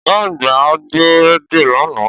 Ọ̀gá àgbà gbọ́ rédíò lánàá